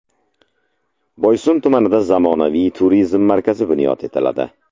Boysun tumanida zamonaviy turizm markazi bunyod etiladi.